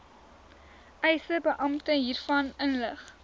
eisebeampte hiervan inlig